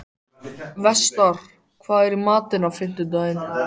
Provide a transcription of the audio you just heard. Vestar, hvað er í matinn á fimmtudaginn?